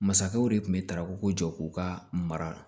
Masakɛw de tun bɛ taraw ko jɔ k'u ka mara